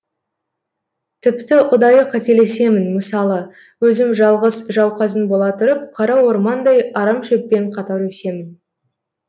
тіпті ұдайы қателесемін мысалы өзім жалғыз жауқазын бола тұрып қара ормандай арамшөппен қатар өсемін